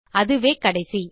அதுவே கடைசி